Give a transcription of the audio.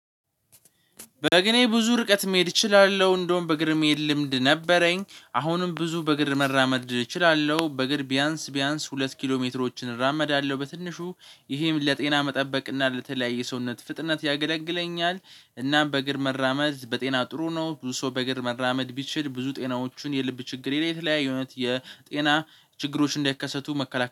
በእግሬ ብዙ ርቀት መሄድ እችላለሁ እንደውም በግር መሄድ ልምድ ነበረኝ አሁንም ብዙ በግር መራመድ እችላለሁ በግር ቢያንስ ቢያንስ ሁለት ኪሎ ሜትሮችን እራመዳለሁ። በትንሹ ይሄም ለጤና መጠበቅ እና ለተለያየ ሰውነት ፍጥነት ያገለግለኛል እናም በእግር መራመድ በጤና ጥሩ ነው። ብዙ ሰው በእግር መራመድ ቢችል ብዙ ጤናዎቹን የልብ ችግር የተለያየ የእውነት የጤና ችግሮች እንዳይከሰቱ መከላከል